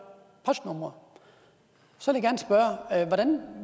postnumre så